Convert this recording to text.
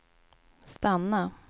stanna